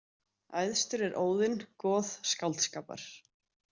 Æðstur er Óðinn goð skáldskapar.